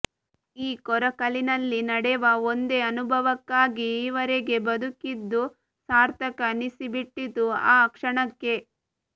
ಈ ಕೊರಕಲಿನಲ್ಲಿ ನಡೆವ ಒಂದೇ ಅನುಭವಕ್ಕಾಗಿ ಈವರೆಗೆ ಬದುಕಿದ್ದೂ ಸಾರ್ಥಕ ಅನ್ನಿಸಿಬಿಟ್ಟಿತು ಆ ಕ್ಷಣಕ್ಕೆ